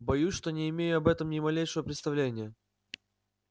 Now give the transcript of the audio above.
боюсь что не имею об этом ни малейшего представления